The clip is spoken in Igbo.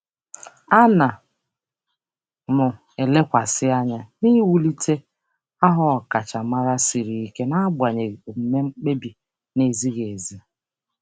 Ana m elekwasị anya n'iwulite aha ọkachamara siri ike n'agbanyeghị omume mkpebi na-ezighị ezi.